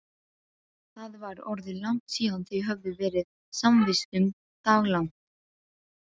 Það var orðið langt síðan þau höfðu verið samvistum daglangt.